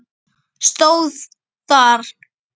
stóð þar.